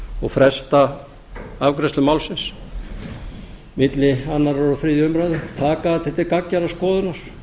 og fresta afgreiðslu málsins milli annars og þriðju umræðu taka það til gagngerrar skoðunar